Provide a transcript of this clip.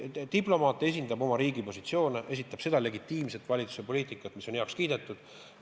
Diplomaat esindab oma riigi positsioone, esindab seda legitiimset valitsuse poliitikat, mis on heaks kiidetud.